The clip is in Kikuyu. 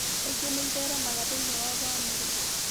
Kaingĩ nĩ ĩtheremaga thĩinĩ wa bamirĩ.